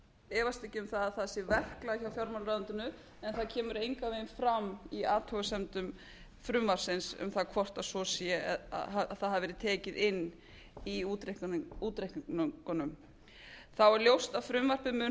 efast ekki um það að það sé verklag hjá fjármálaráðuneytinu en það kemur engan veginn fram í athugasemdum frumvarpsins um það hvort svo sé að það hafi verið tekið inn í útreikningunum þá er ljóst að frumvarpið mun